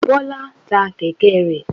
Bọ́lá ta kẹ̀kẹ́ rẹ̀.